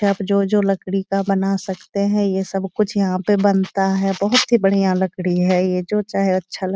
आप जो जो लकड़ी का बना सकते हैं ये सब कुछ यहाँ पे बनता हैं। बहुत ही बढ़िया लकड़ी है ये जो चाहे अच्छा लग --